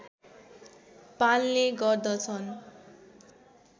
पाल्ने गर्दछन्